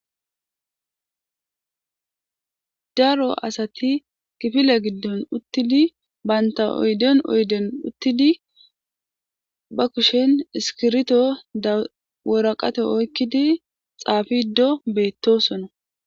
daro asati kifile giddon uttidi baynta oyden oyden uttidi ba kushen iskirito daworaqate oykkidi xaafido beettosona